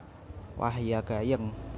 Wah ya gayeng